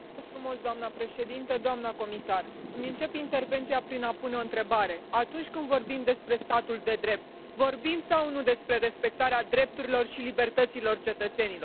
Doamnă președintă, doamnă comisar, îmi încep intervenția prin a pune o întrebare atunci când vorbim despre statul de drept, vorbim sau nu despre respectarea drepturilor și libertăților cetățenilor?